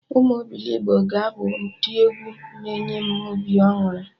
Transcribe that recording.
Ụmụ obilogbo ka ga-abụ ndị egwu na enye m obi aṅụrị